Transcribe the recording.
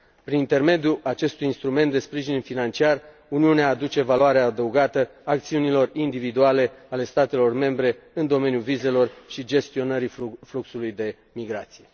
Prin intermediul acestui instrument de sprijin financiar, Uniunea aduce valoare adăugată acțiunilor individuale ale statelor membre în domeniul vizelor și gestionării fluxului de migrație.